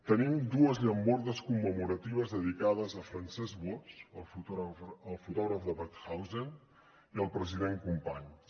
tenim dues llambordes commemoratives dedicades a francesc boix el fotògraf de mauthausen i al president companys